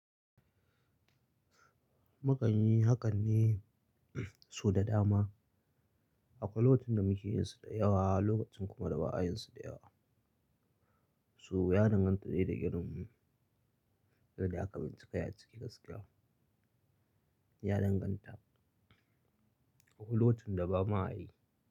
Mukan yi hakan ne su da dama. A kwai lokacin da muke yinsu da yawa lokacin kuma da ba ayinsu da yawa. Su ya danganta ne da irin, yadda aka doki kai ya ciki gaskiya. Ya danganta a kwai lokacin da ba ma ayi.